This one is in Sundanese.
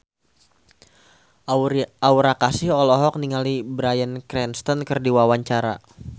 Aura Kasih olohok ningali Bryan Cranston keur diwawancara